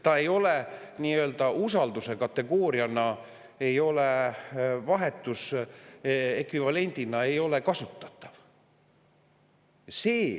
Ta ei ole nii-öelda usalduse kategooriana, vahetusekvivalendina kasutatav.